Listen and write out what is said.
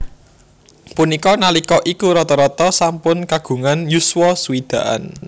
Punika nalika iku rata rata sampun kagungan yuswa swidakan